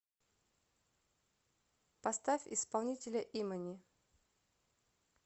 поставь исполнителя имани